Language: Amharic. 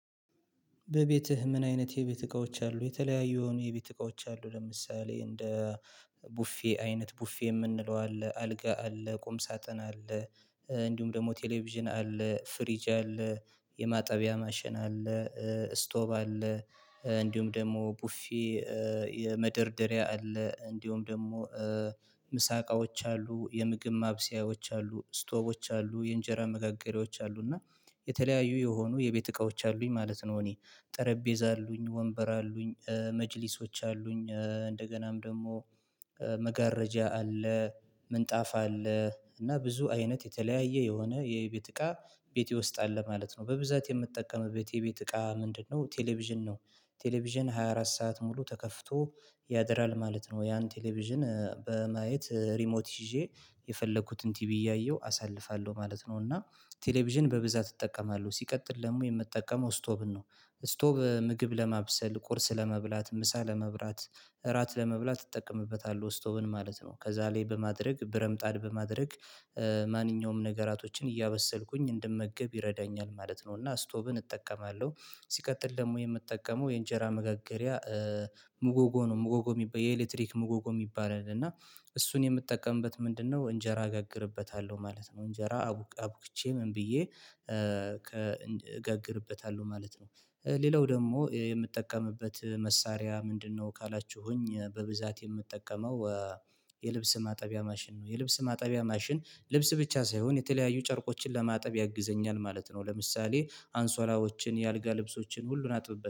በቤትህ ምን አይነት የቤት እቃዎች አሉ? የተለያዩ የሆኑ የቤት እቃዎች አሉ ለምሳሌ እንደ ቡፌ አይነት፣ ቡፌ የምንለው አለ፣ አልጋ አለ፣ ቁም ሳጥን አለ፣ እንዲሁም ደግሞ ቴሌቪዥን አለ፣ ፍሪጃ አለ፣ የማጠቢያ ማሽን አለ፣ ስቶብ አለ፣ እንዲሁም ደግሞ ቡፌ የመደርደሪያ አለ፣ እንዲሁም ደግሞ ምሳቃዎች አሉ፣ የምግብ ማብሰያዎች አሉ፣ ስቶቦች አሉ፣ የእንጀራ ምጋገሪያዎች አሉ እና የተለያዩ የሆኑ የቤት እቃዎች አሉኝ ማለት ነው እኔ። ጠረጴዛ አሉኝ፣ ወንበር አሉኝ፣ መጅሊሶች አሉኝ፣ እንደገናም ደግሞ መጋረጃ አለ፣ ምንጣፋ አለ፣ እና ብዙ አይነት የተለያየ የሆነ የቤት እቃ ቤቴ ውስጥ አለ ማለት ነው። በብዛት የምጠቀምበት ቤቴ የቤት እቃ ምንድነው? ቴሌቪዥን ነው። ቴሌቪዥን ሃያ አራት ሰዓት ሙሉ ተከፍቶ ያድራል ማለት ነው። ያን ቴሌቪዥን በማየት ሪሞት ይዤ የፈለኩትን ቲቪ እያየሁ አሳልፋለሁ ማለት ነው። እና ቴሌቪዥን በብዛት እጠቀማለሁ። ሲቀጥል ደግሞ የምጠቀመው ስቶብን ነው። ስቶብ ምግብ ለማብሰል፣ ቁርስ ለመብላት፣ ምሳ ለመብላት፣ እራት ለመብላት እጠቀምበታለሁ ስቶብን ማለት ነው። ከዛ ላይ በማድረግ ብረምጣድ በማድረግ ማንኛውም ነገራቶችን እያበሰልኩኝ እንድመገብ ይረዳኛል ማለት ነው እና ስቶብን እጠቀማለሁ። ሲቀጥል ደግሞ የምጠቀመው የእንጀራ ምጋገሪያ ሙጎጎ ነው። ሙጎጎ ሚባ የኤሌክትሪክ ሙጎጎ የሚባል አለ እና እሱን የምጠቀምበት ምንድነው እንጀራ አጋግርበታለሁ ማለት ነው። እንጀራ አቡክቼ ምን ብዬ እጋግርበታለሁ ማለት ነው። ሌላው ደግሞ የምጠቀምበት መሳሪያ ምንድነው ካላችሁኝ? በብዛት የምጠቀመው የልብስ ማጠቢያ ማሽን ነው። የልብስ ማጠቢያ ማሽን ልብስ ብቻ ሳይሆን የተለያዩ ጨርቆችን ለማጠብ ያግዘኛል ማለት ነው። ለምሳሌ አንሶላዎችን፣ የአልጋ ልብሶችን ሁሉን አጥብበት